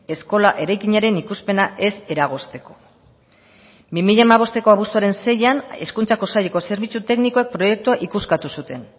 eskola eraikinaren ikuspena ez eragozteko bi mila hamabosteko abuztuaren seian hezkuntzako saileko zerbitzu teknikoak proiektua ikuskatu zuten